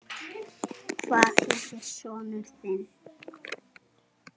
Hvað heitir sonur þinn?